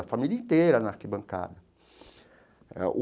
A família inteira na arquibancada eh o.